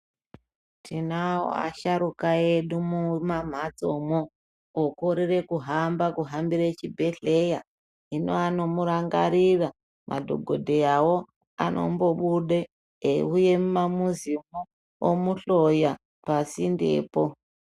Tinawo asharuka edu mumamhatso mwoo okorera kuhambira chibhedhlera hino anomurangarira madhokodheyawo anombobude eyiuye mumamuzi omuhloya pasinde poo.